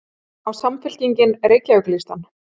Á Samfylkingin Reykjavíkurlistann?